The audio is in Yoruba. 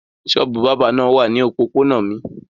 Ṣọ́ọ́bù bábà náà wà ní òpópónà mi.